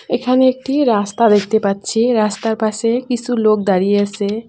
এখানে একটি রাস্তা দেখতে পাচ্ছি রাস্তার পাশে কিসু লোক দাঁড়িয়ে আসে।